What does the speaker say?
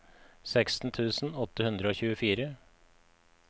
seksten tusen åtte hundre og tjuefire